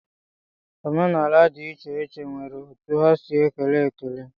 Omenaala dị iche iche nwere otu ha si ekele ekele.